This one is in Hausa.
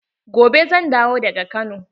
Gobe zan dawo daga Kano.